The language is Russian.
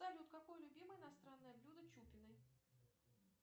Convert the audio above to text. салют какое любимое иностранное блюдо чупиной